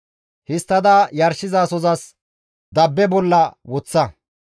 Histtada yarshizasozas dabba bolla woththa.